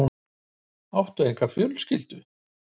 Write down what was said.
Áttu enga fjölskyldu?